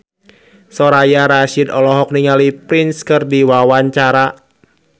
Soraya Rasyid olohok ningali Prince keur diwawancara